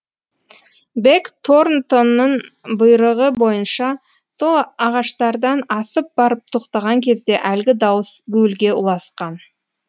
бэк торнтоннын бұйрығы бойынша сол ағаштардан асып барып тоқтаған кезде әлгі дауыс гуілге ұласқан